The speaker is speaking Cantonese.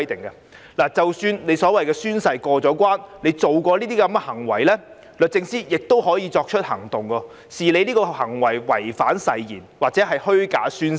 任何公職人員即使在宣誓過關，但如果曾作出上述行為，律政司司長亦可作出行動，把他們的行為視作違反誓言或作虛假宣誓。